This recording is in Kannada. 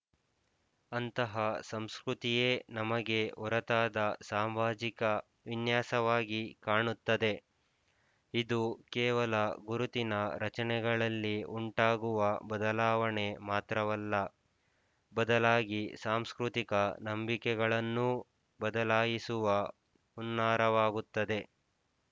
ಅಂತಹ ಸಂಸ್ಕೃತಿ ಯೇ ನಮಗೆ ಹೊರತಾದ ಸಾಮಾಜಿಕ ವಿನ್ಯಾಸವಾಗಿ ಕಾಣುತ್ತದೆ ಇದು ಕೇವಲ ಗುರುತಿನ ರಚನೆಗಳಲ್ಲಿ ಉಂಟಾಗುವ ಬದಲಾವಣೆ ಮಾತ್ರವಲ್ಲ ಬದಲಾಗಿ ಸಾಂಸ್ಕೃತಿಕ ನಂಬಿಕೆಗಳನ್ನೂ ಬದಲಾಯಿಸುವ ಹುನ್ನಾರವಾಗುತ್ತದೆ